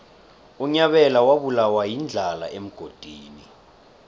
unyabela wabulawa yindlala emgodini